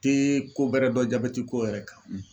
Te ko bɛrɛ dɔn jabɛti ko yɛrɛ kan